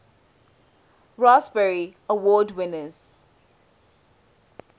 raspberry award winners